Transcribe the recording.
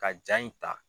Ka ja in ta